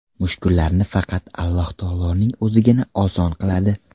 Mushkullarni faqat Alloh taoloning O‘zigina oson qiladi.